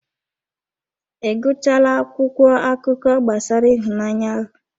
Ị gụchaala akwụkwọ akụkọ gbasara ịhụnanya ahụ?